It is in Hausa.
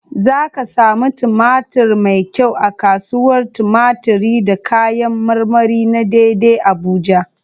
Za ka samu tumatir mai kyau a kasuwar tumatiri da kayan marmari na dei dei Abuja.